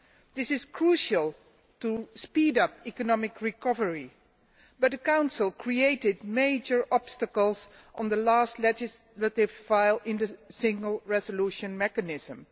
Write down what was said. This is crucial in order to speed up economic recovery, but the Council created major obstacles on the last legislative file in the Single Resolution Mechanism.